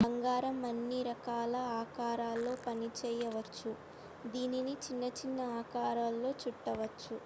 బంగారం అన్ని రకాల ఆకారాలలో పనిచేయవచ్చు దీనిని చిన్న చిన్న ఆకారాలలో చుట్టవచ్చు